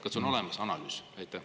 Kas on olemas analüüs?